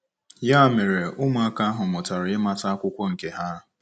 Ya mere, ụmụaka ahụ mụtara ịmata akwụkwọ nke ha.